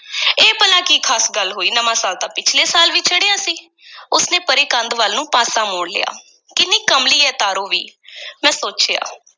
ਇਹ ਭਲਾ ਕੀ ਖ਼ਾਸ ਗੱਲ ਹੋਈ, ਨਵਾਂ ਸਾਲ ਤਾਂ ਪਿਛਲੇ ਸਾਲ ਵੀ ਚੜਿਆ ਸੀ ਉਸ ਨੇ ਪਰੇ ਕੰਧ ਵੱਲ ਨੂੰ ਪਾਸਾ ਮੋੜ ਲਿਆ, ਕਿੰਨੀ ਕਮਲੀ ਐ ਤਾਰੋ ਵੀ ਮੈਂ ਸੋਚਿਆ।